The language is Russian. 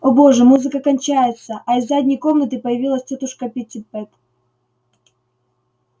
о боже музыка кончается а из задней комнаты появилась тётушка питтипэт